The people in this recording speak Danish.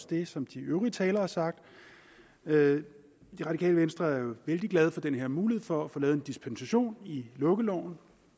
det som de øvrige talere har sagt det radikale venstre er vældig glade for den her mulighed for at få lavet en dispensation i lukkeloven